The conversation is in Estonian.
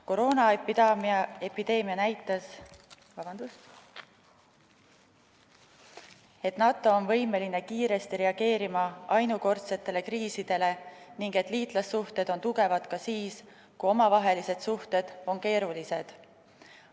Koroonaepideemia on näidanud, et NATO on võimeline kiiresti reageerima ainukordsetele kriisidele ning liitlassuhted on tugevad ka siis, kui omavahelised suhted on keerulised.